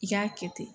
I k'a kɛ ten